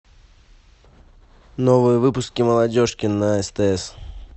новые выпуски молодежки на стс